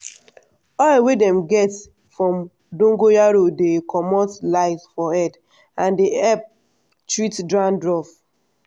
oil wey dem dey get from dongoyaro dey comot lice for head and dey help treat dandruff.